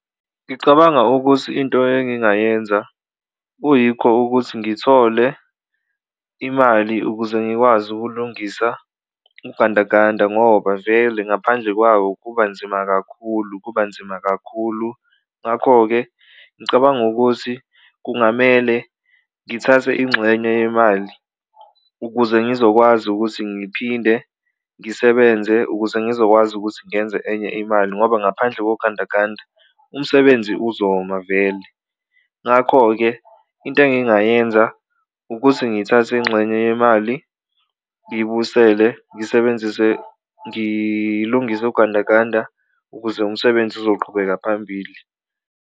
Ngicabanga ukuthi into engingayenza kuyikho ukuthi ngithole imali ukuze ngikwazi ukulungisa ugandaganda ngoba vele ngaphandle kwawo kuba nzima kakhulu kuba nzima kakhulu, ngakho-ke ngicabanga ukuthi kungamele ngithathe inxenye yemali ukuze ngizokwazi ukuthi ngiphinde ngisebenze ukuze ngizokwazi ukuthi ngenze enye imali. Ngoba ngaphandle kogandaganda umsebenzi uzoma vele ngakho-ke into engingayenza ukuthi ngithathe inxenye yemali ngibusele ngisebenzise ngilungise ugandaganda ukuze umsebenzi uzoqhubeka phambili.